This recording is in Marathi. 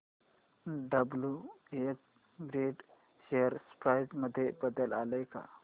डब्ल्युएच ब्रॅडी शेअर प्राइस मध्ये बदल आलाय का